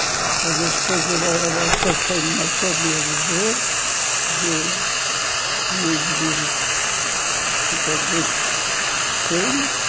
Mas depois o a o assassino matou o meu avô e o e os meus filhos.